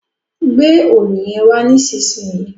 gbé Òòlù yén wà nísìsiyìí!